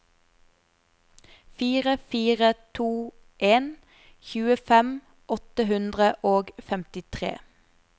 fire fire to en tjuefem åtte hundre og femtitre